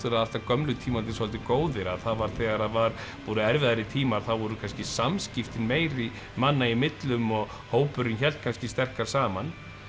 alltaf gömlu tímarnir svolítið góðir að þegar það voru erfiðari tímar þá voru kannski samskiptin meiri manna í millum og hópurinn hélt kannski sterkar saman